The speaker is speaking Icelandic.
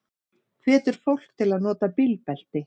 Hvetur fólk til að nota bílbelti